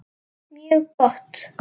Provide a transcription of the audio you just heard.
Mjög gott.